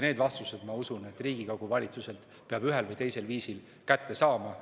Need vastused, ma usun, peab Riigikogu valitsuselt ühel või teisel viisil kätte saama.